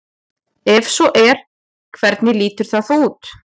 Ef svo er hvernig lítur það þá út?